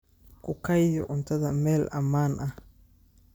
Ku kaydi cuntada meel ammaan ah.